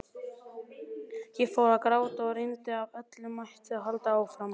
Ég fór að gráta og reyndi af öllum mætti að halda áfram.